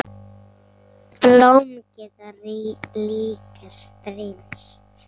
Blóm geta líka strítt.